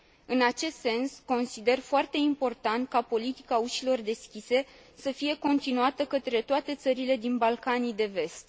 În acest sens, consider foarte important ca politica ușilor deschise să fie continuată către toate țările din Balcanii de Vest.